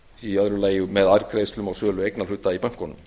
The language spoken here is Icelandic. í öðru lagi með afgreiðslum á sölu eignarhluta í bönkunum